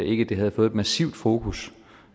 ikke havde fået et massivt fokus